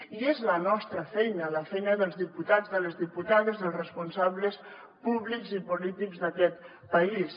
i és la nostra feina la feina dels diputats de les diputades dels responsables públics i polítics d’aquest país